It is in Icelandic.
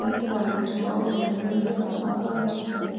Stundum var líka smávægilegur munur á stafrófinu sem þeir notuðu.